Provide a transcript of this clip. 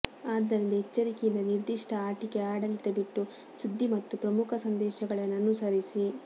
ಆದ್ದರಿಂದ ಎಚ್ಚರಿಕೆಯಿಂದ ನಿರ್ದಿಷ್ಟ ಆಟಿಕೆ ಆಡಳಿತ ಬಿಟ್ಟು ಸುದ್ದಿ ಮತ್ತು ಪ್ರಮುಖ ಸಂದೇಶಗಳನ್ನು ಅನುಸರಿಸಿ